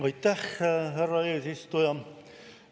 Aitäh, härra eesistuja!